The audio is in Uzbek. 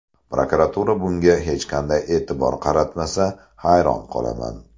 Prokuratura bunga hech qanday e’tibor qaratmasa, hayron qolaman.